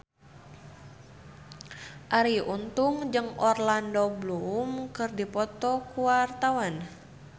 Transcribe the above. Arie Untung jeung Orlando Bloom keur dipoto ku wartawan